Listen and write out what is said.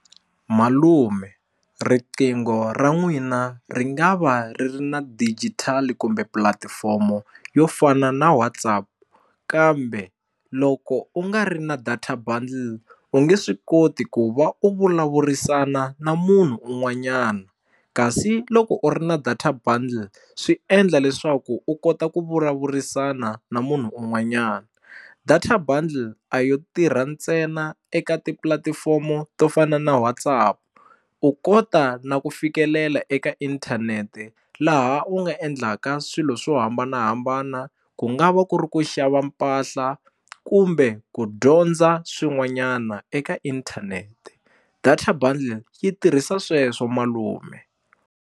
Malume riqingho ra n'wina ri nga va ri ri na digitali kumbe pulatifomo yo fana na WhatsApp kambe loko u nga ri na data bundle u nge swi koti ku va u vulavurisana na munhu un'wanyana kasi u loko u ri na data bundle swi endla leswaku u kota ku vulavurisana na munhu un'wanyana data bundle a yo tirha ntsena eka tipulatifomo to fana na WhatsApp u kota na ku fikelela eka inthanete laha u nga endlaka swilo swo hambanahambana ku nga va ku ri ku xava mpahla kumbe ku dyondza swin'wanyana eka internet data bundle yi tirhisa sweswo malume.